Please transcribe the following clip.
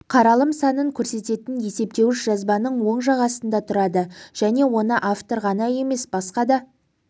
қаралым санын көрсететін есептеуіш жазбаның оң жақ астында тұрады және оны автор ғана емес басқа да